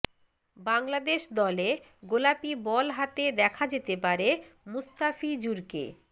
বাংলাদেশ দলে গোলাপি বল হাতে দেখা যেতে পারে মুস্তাফিজুরকে